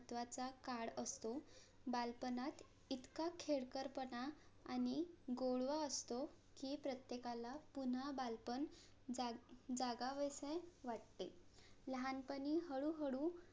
बालपणात इतका खेळकर पणा आणि गोडवा असतो कि प्रत्येकाला पुन्हा बालपण जागा~ जागावेसे वाटते लहानपणी हळू हळू